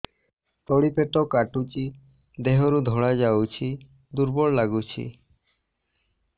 ତଳି ପେଟ କାଟୁଚି ଦେହରୁ ଧଳା ଯାଉଛି ଦୁର୍ବଳ ଲାଗୁଛି